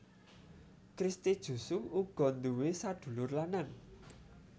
Christy Jusung uga nduwé sadulur lanang